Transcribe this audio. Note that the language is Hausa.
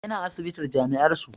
Yana asibitin jami'ar su